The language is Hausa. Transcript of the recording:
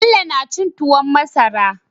Bello na cin tuwon masara